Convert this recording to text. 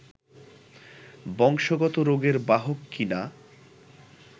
বংশগত রোগের বাহক কি না